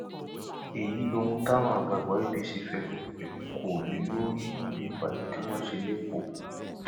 èyí lohun táwọn àgbààgbà apc fẹnu kò lé lórí níbi ìpàdé tí wọn ṣe lẹkọọ